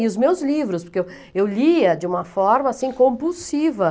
E os meus livros, porque eu eu lia de uma forma, assim, compulsiva.